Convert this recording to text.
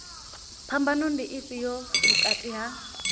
phambano ndi ifhio vhukati ha